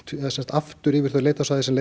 aftur yfir það leitarsvæði sem